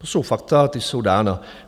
To jsou fakta, ta jsou dána.